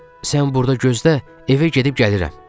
Sən burda gözlə, evə gedib gəlirəm, Stiv dedi.